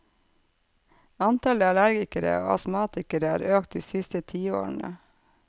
Antallet allergikere og astmatikere har økt de siste tiårene.